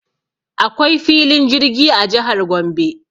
Akwai filin jirgi a jihar Gombe.